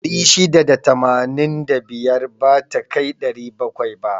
685 bata kai 700 ba.